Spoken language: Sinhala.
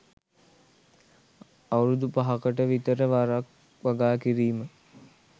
අවුරුදු පහකට විතර වරක් වගා කිරීම.